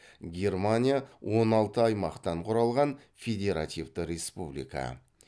германия он алты аймақтан құралған федеративті республика